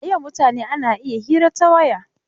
A yau mutane ana iya hira ta waya.